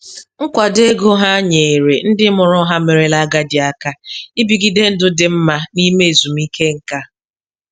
Nkwado ego ha nyeere ndị mụrụ ha merela agadi aka ibigide ndụ dị mma n'ime ezumike nká.